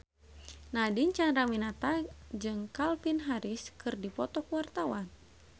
Nadine Chandrawinata jeung Calvin Harris keur dipoto ku wartawan